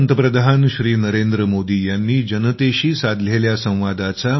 प्रसारण तारीखः ३०४२०२३